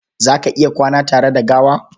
Za ka iya kwana tare da gawa?